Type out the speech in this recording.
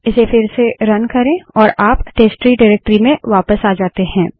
इसे फिर से रन करे और आप टेस्टट्री डाइरेक्टरी में वापस आ जाते हैं